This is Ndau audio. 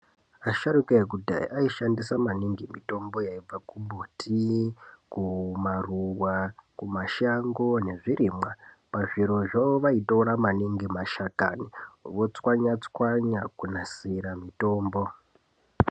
Asharuka ekudhaya aishandisa maningi mitombo yaibva kumbiti , kumaruwa, kumashango nezvirimwa. Pazvirozvo ,vaitora maningi mashakani votswanya -tswanya kunasira mutombo.